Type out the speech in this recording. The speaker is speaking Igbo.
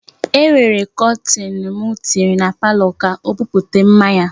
E nwere kọtin m tinyere a palọ ka o buputa mma ya.